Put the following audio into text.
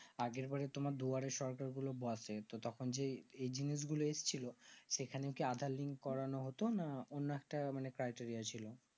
আগের বারে তোমার দুয়ারের সরকার গুলো বসে তো তখন যেই এই জিনিস গুলো এসেছিলো সেখান তো aadhaar link করানো হতো না অন্য একটা মানে টাইটারিয়া ছিল